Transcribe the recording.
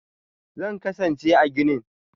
Zan kasance a ginin.